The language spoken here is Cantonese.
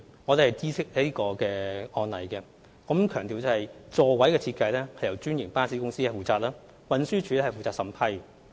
我們已知悉這宗案例，並須強調座位設計由專營巴士公司負責，運輸署則負責審批。